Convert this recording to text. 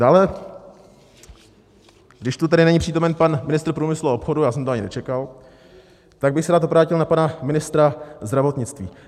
Dále, když tu tedy není přítomen pan ministr průmyslu a obchodu, já jsem to ani nečekal, tak bych se rád obrátil na pana ministra zdravotnictví.